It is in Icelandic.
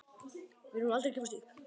Við munum aldrei gefast upp.